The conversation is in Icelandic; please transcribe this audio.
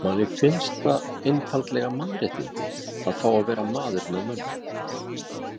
Manni finnst það einfaldlega mannréttindi að fá að vera maður með mönnum.